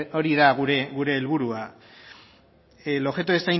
hori da gure helburua el objeto